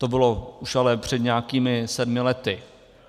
To bylo už ale před nějakými sedmi lety.